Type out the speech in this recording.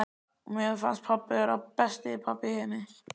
Og mér fannst pabbi vera besti pabbi í heimi.